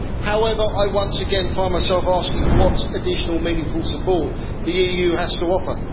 However, I once again find myself asking what additional meaningful support the EU has to offer.